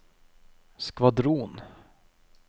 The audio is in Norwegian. skvadron